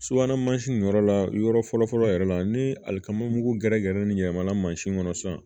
Subahana mansin in yɔrɔ la yɔrɔ fɔlɔ fɔlɔ yɛrɛ la ni alikama mugu gɛrɛ gɛrɛ nin yɛlɛmana mansin kɔnɔ sisan